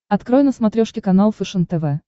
открой на смотрешке канал фэшен тв